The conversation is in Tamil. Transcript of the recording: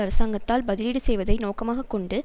அரசாங்கத்தால் பதிலீடு செய்வதை நோக்கமாக கொண்டு